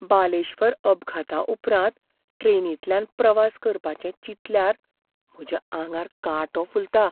बालेश्वरअपघाताउपरांत ट्रेनींतल्यान प्रवास करपाचें चिंतल्यार म्हज्या आंगार कांटो फुलता.